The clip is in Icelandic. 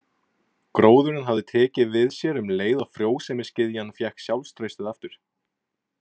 Gróðurinn hafði tekið við sér um leið og frjósemisgyðjan fékk sjálfstraustið aftur.